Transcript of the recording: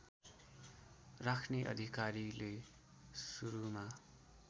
राख्ने अधिकारीले सुरुमा